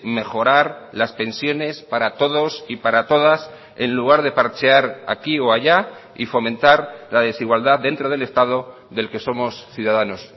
mejorar las pensiones para todos y para todas en lugar de parchear aquí o allá y fomentar la desigualdad dentro del estado del que somos ciudadanos